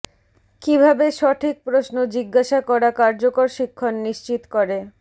কিভাবে সঠিক প্রশ্ন জিজ্ঞাসা করা কার্যকর শিক্ষণ নিশ্চিত করে